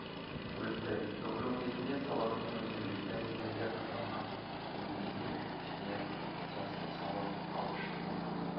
өтті ток-шоу кезінде салахтың өзі жүкті әйелдерге арналған киіммен келіп ішіне жастық салып алып шыққан